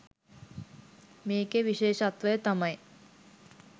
මේකෙ විශෙෂත්වය තමයි